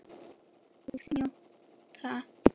Og njóta.